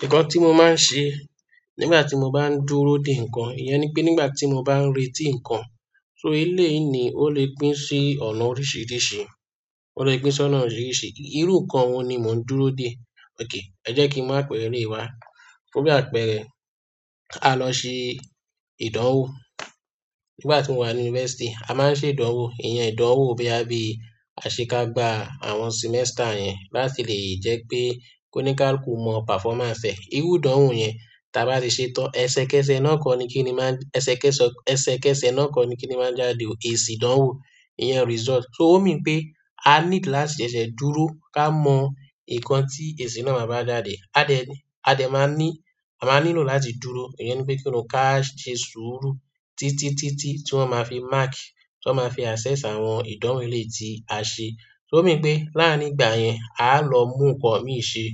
Nnkàn tí mo máa ń ṣe nígbà tí mo bá ń dúró dè nǹkan, ìyẹn ni pé nígbà tí mo bá ń retí nǹkan. So éleyìí ni ó lè pín sí ọ̀nà oríṣiríṣi, ó lè pín sí ọ̀nà oríṣiríṣi. Irú nǹkan wo ni mo ń dúró dè? Ok, ẹ jẹ́ kí n mú àpẹẹrẹ éleyi wá. Fún bi àpẹẹrẹ, a lọ́ se ìdánwò nígbà ti mo wà ni university. A máa ń ṣe ìdánwò, ìyẹn ìdánwò boya bí aṣekagba àwọn semester yẹn láti lè jẹ́ pé kóníkáàlukú mọ performance ẹ̀. Irú ìdánwò yẹn ta bá ti ṣe tán, ẹsẹ kẹsẹ̀ náà kọ ni kíni máa ń-- ẹsẹ kẹsọ-- ẹsẹ kẹsẹ̀ náà kọ ni kíni máa ń jáde o èsì ìdánwò, ìyẹn result. So ó mean pé a need láti ṣẹ̀ṣẹ̀ dúró ká mọ nǹkan tí èsì náà máa bá jáde. A dẹ̀ a máa ní, a máa nílò láti dúró, ìyẹn ni pé kíni káà se sùúrù títítítí tí wọ́n máa fi máàkì tí wọ́n máa fi assess àwọn ìdánwò eléyii tí a ṣe. So, o mean pé láàrín ìgbà yẹn, a lọ mú nǹkan mi ṣe,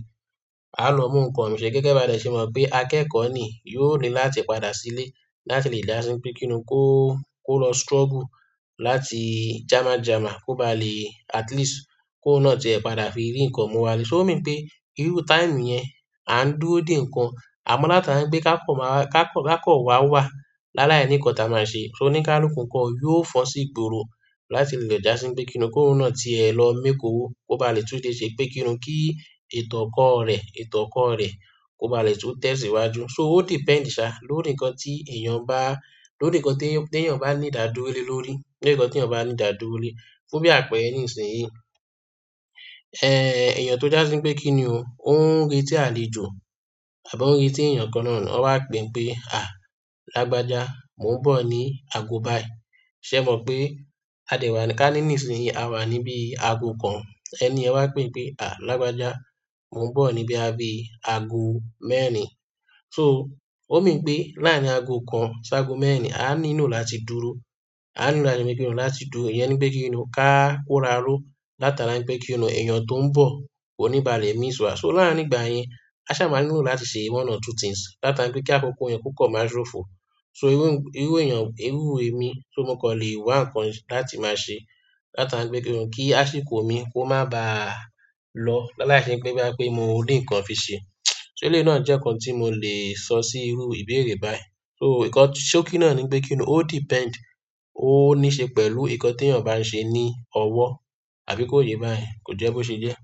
a lọ mú nǹkan mi ṣe. Gẹ̀gẹ́ bá dẹ̀ ṣe mọ̀ pé akẹ́kọ̀ọ́ ni yóò ní láti padà sílé láti lè dá sí pe kíni o, kó, kó lọ struggle láti jàma jàma kó ba lè at least kóun náà tìẹ̀ padà fi rí nǹkan mú wa lé. So o mean pé irú táìmù yẹn, à ń dúró dè nǹkan, àmọ́ láti àra ń pé ká kọ̀ máa wá, ká kọ̀ ká kọ̀ wá wà láláini nnkán ta máa ṣe. So oní kálùku nkọ, yóò fọn sí ìgboro láti lè lọ já sí npe kíni o? Kóun náà tìẹ̀ lọ make owó kó ba lè tún dé ṣe pé kíni o, kí ètò ọkọ̀ rẹ, ètò ọkọ̀ rẹ kó ba lè tún tẹ̀síwájú. So ó depend, sà, lórí nǹkan tí èèyàn bá, lórí nǹkan tí èèyàn bá ní dàdúró lórí, lórí nǹkan tí èèyàn bá ní dàdúró lórí. Fún bí àpẹẹrẹ nísinsìnyí, ẹ́ èèyàn tó já sí pe kíni o, ó ń re tí àlejò àbí ó ń rí tí èèyàn kan náà wọn wá pè pé, "À, lágbájá, mò ń bọ̀ ní ago báyìí." Ṣé ẹ mọ̀ pé a dè wà ká ní nísinsìnyí a wà níbí ago kan ẹni yẹ wá pè pé, "À, lágbájá, mò ń bọ̀ níbí àbí ago mẹ́rin." So ó mean pé láàrín ago kan sí ago mẹ́rin, a nílò láti dúró, a nílò láti pe kíni o, láti dúró. Ìyẹn ni pé kíni o, ká kóraró látara ń pé kíni o èèyàn tó ń bọ̀ kó níba lè miss wà. So láàrín ìgbà yẹn, a sá máa nílò láti ṣe one or two things látara ń pé kí àkókò yẹn ko kan máa sófo. So irú, irú èèyàn, irú émi so mọ̀ kan lè wá nǹkan láti máa ṣe látara ń pé kíni o kí àsìkò mi kó má bá lọ lálái se pé boya pé mo rí nǹkan fi ṣe. So eléyii náà jẹ́ nǹkan tí mo lè sọ sí irú ìbéèrè báyìí. So nkan-- ṣókí náà ni pé kíni ó, ó depend, ó ní ṣe pẹ̀lú nǹkan tí èèyàn bá ń ṣe ní ọwọ́ àbí kó yé báyẹ́ kò jẹ́ bó ṣe jẹ́?